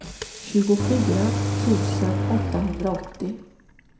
tjugofyra tusen åttahundraåttio